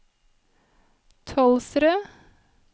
Tolvsrød